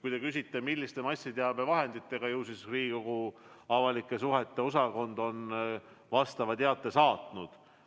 Kui te küsite, milliste massiteabevahendite kaudu on infot edastatud, siis ütlen, et Riigikogu avalike suhete osakond on vastava teate saatnud.